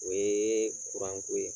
O ye kuranko ye